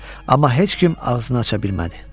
Amma heç kim ağzını aça bilmədi.